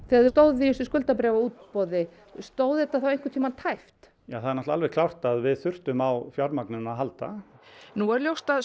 þegar þið stóðuð í þessu skuldabréfaútboði stóð þetta þá einhvern tíma tæpt ja það er alveg klárt að við þurftum á fjármagninu að halda nú er ljóst að